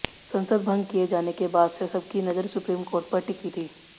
संसद भंग किए जाने के बाद से सबकी नज़र सुप्रीम कोर्ट पर टिकी थी